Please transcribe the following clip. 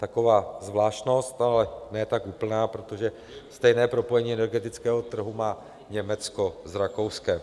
Taková zvláštnost, ale ne tak úplná, protože stejné propojení energetického trhu má Německo s Rakouskem.